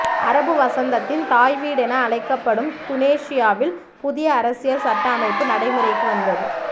அரபுவசந்தத்தின் தாய்வீடென அழைக்கப்படும் துனேஷியாவில் புதிய அரசியல் சட்ட அமைப்பு நடைமுறைக்கு வந்தது